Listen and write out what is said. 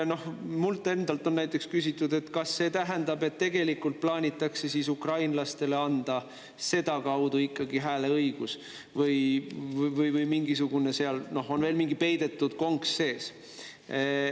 Mult endalt on näiteks küsitud, kas see tähendab, et tegelikult plaanitakse ukrainlastele anda sedakaudu ikkagi hääleõigus või on seal veel mingisugune peidetud konks sees.